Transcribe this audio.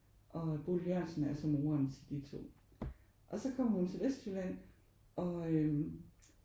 Og Bodil Jørgensen er så moren til de to og så kommer hun til Vestjylland og øh